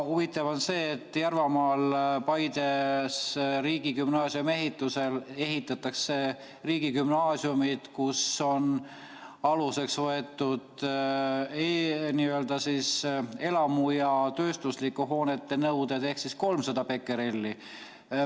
Huvitav on see, et Järvamaal Paides ehitatakse riigigümnaasiumi, mille puhul on aluseks võetud elamute ja tööstuslike hoonete nõuded, ehk siis 300 bekerelli.